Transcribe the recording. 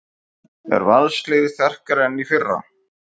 Er Valsliðið sterkara en í fyrra?